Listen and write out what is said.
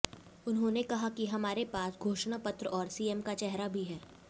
उन्होंने कहा कि हमारे पास घोषणा पत्र और सीएम का चेहरा भी है